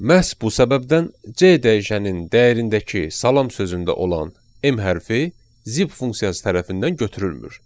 Məhz bu səbəbdən C dəyişəninin dəyərindəki salam sözündə olan M hərfi zip funksiyası tərəfindən götürülmür.